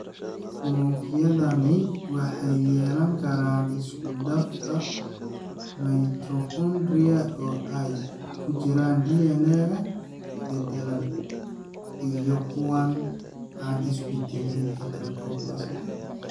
Unugyadani waxay yeelan karaan isku dhafka mitochondria oo ay ku jiraan DNA-ga beddelan iyo kuwa aan isbeddelin (heteroplasmy).